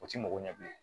O ti mɔgɔ ɲɛbilen